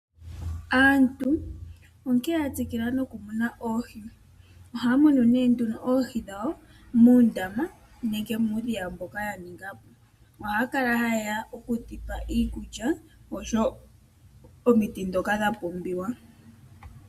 Aantu onkee ya tsikila noku kuna oohi. Ohaa munu ne nduno oohi dhawo muundama nenge muudhiya mboka ya ninga po. Ohaa kala ha ye ya oku dhi pa iikulya, osho wo omiti ndjoka dha pumhiwa.